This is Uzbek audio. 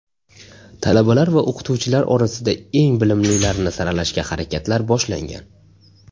Talabalar va o‘qituvchilar orasida eng bilimlilarini saralashga harakatlar boshlangan.